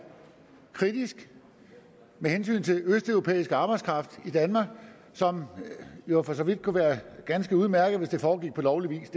kritisk med hensyn til østeuropæisk arbejdskraft i danmark som jo for så vidt kunne være ganske udmærket hvis det foregik på lovlig vis